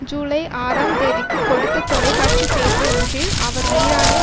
ஜூலை ஆறாம் தேதி க்குக் கொடுத்த தொலைக்காட்சி பேட்டி ஒன்றில் அவர் ஈரானை